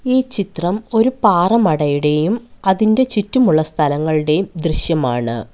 ഈ ചിത്രം ഒരു പാറമടയുടേയും അതിൻ്റെ ചുറ്റുമുള്ള സ്ഥലങ്ങളുടേയും ദൃശ്യമാണ്.